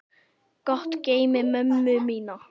Gott geymi mömmu mína.